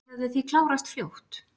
Þau hefðu því klárast fljótt